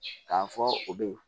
K'a fɔ u bɛ ye